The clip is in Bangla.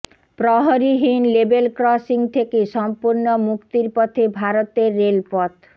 প্রহরীবিহীন লেভেল ক্রসিং থেকে সম্পূর্ণ মুক্তির পথে ভারতের রেলপথ